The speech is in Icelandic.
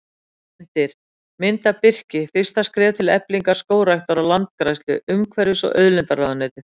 Myndir: Mynd af birki: Fyrstu skref til eflingar skógræktar og landgræðslu Umhverfis- og auðlindaráðuneytið.